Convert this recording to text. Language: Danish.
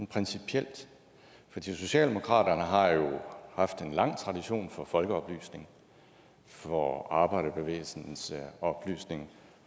principielt fordi socialdemokratiet har jo haft en lang tradition for folkeoplysning for arbejderbevægelsens oplysning